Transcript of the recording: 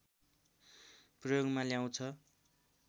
प्रयोगमा ल्याउँछ